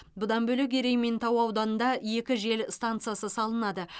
барлығы бес жел генераторы орнатылды